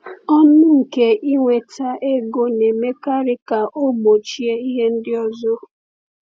Ọṅụ nke inweta ego na-emekarị ka ọ gbochie ihe ndị ọzọ.